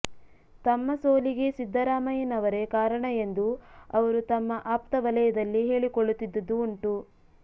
ತಮ್ಮ ಸೋಲಿಗೆ ಸಿದ್ದರಾಮಯ್ಯನವರೇ ಕಾರಣ ಎಂದು ಅವರು ತಮ್ಮ ಅಪ್ತ ವಲಯದಲ್ಲಿ ಹೇಳಿಕೊಳ್ಳುತ್ತಿದ್ದುದು ಉಂಟು